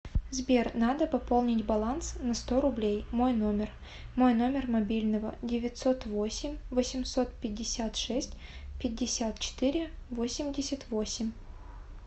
сбер надо пополнить баланс на сто рублей мой номер мой номер мобильного девятьсот восемь восемьсот пятьдесят шесть пятьдесят четыре восемьдесят восемь